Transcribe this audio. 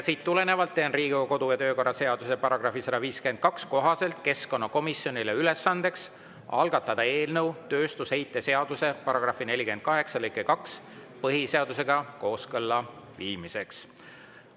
Teen Riigikogu kodu‑ ja töökorra seaduse § 152 kohaselt keskkonnakomisjonile ülesandeks algatada eelnõu tööstusheite seaduse § 48 lõike 2 põhiseadusega kooskõlla viimiseks.